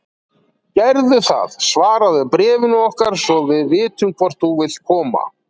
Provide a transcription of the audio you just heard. Gerðu það svaraðu bréfinu okkar svo við vitum hvort þú vilt koma.